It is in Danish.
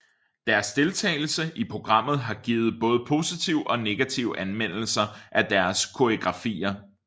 Deres deltagelse i programmet har givet både positive og negative anmeldelser af deres koreografier